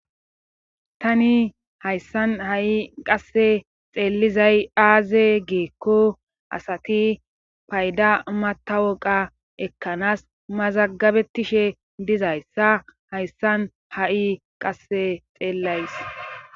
Tani hayssan ha7i qasse xeellizay aaze geekko asati payda mata woqa ekkanaas mazagabetishe dizayssa hayssan ha7i qasse xeellays.